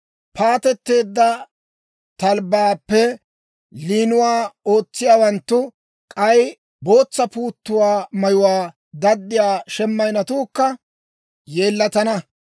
Paatetteedda talbbaappe liinuwaa ootsiyaawanttu, k'ay bootsa puuttuwaa mayuwaa daddiyaa shemayinnetuukka yeellatana.